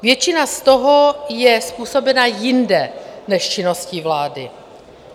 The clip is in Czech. Většina z toho je způsobena jinde než činností vlády.